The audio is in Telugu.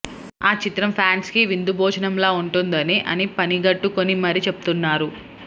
ఆ చిత్రం ఫ్యాన్స్ కి విందు భోజనంలా ఉంటుందని అని పని గట్టుకుని మరీ చెప్తున్నారు